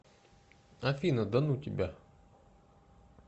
афина да ну тебя